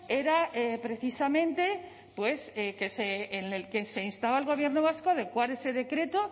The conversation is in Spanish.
era precisamente que se instaba al gobierno vasco a adecuar ese decreto